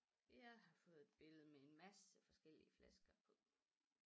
Jeg har fået et billede med en masse forskellige flasker på